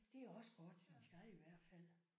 Det er også godt synes jeg i hvert fald